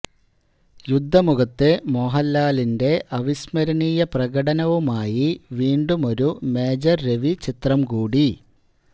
യുദ്ധ മുഖത്തെ മോഹൻലാലിന്റെ അവിസ്മരണീയ പ്രകടനവുമായി വീണ്ടുമൊരു മേജർ രവി ചിത്രംകൂടി